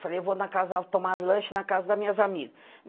Eu falei, eu vou na casa tomar lanche na casa das minhas amigas.